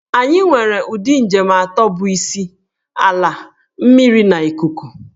Anyị nwere ụdị njem atọ bụ isi - Ala, mmiri na ikuku.